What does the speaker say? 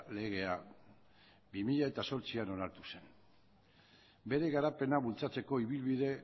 legea bi mila zortzian onartu zen bere garapena bultzatzeko ibilbide